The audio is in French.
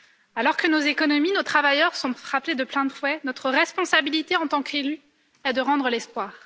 Alors que nos économies, nos travailleurs, sont frappés de plein de fouet, notre responsabilité, en tant qu'élus, est de rendre l'espoir.